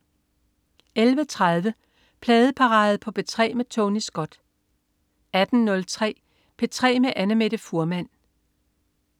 11.30 Pladeparade på P3 med Tony Scott 18.03 P3 med Annamette Fuhrmann